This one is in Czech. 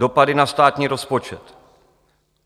Dopady na státní rozpočet.